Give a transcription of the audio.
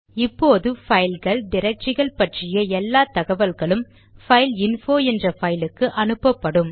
இப்போது பைல்கள் டிரக்டரிகள் பற்றிய எல்லா தகவல்களும் பைல்இன்போ என்ற பைல் க்கு அனுப்பப்படும்